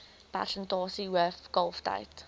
persentasie hoof kalftyd